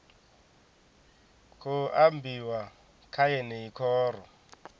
khou ambiwa kha yeneyi khoro